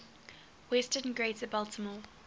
western greater baltimore